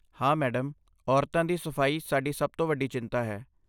ਹਾਂ, ਮੈਡਮ, ਔਰਤਾਂ ਦੀ ਸਫਾਈ ਸਾਡੀ ਸਭ ਤੋਂ ਵੱਡੀ ਚਿੰਤਾ ਹੈ।